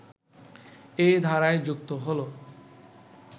এই ধারায় যুক্ত হলো